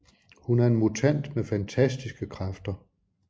Hun er en mutant med fantastiske kræfter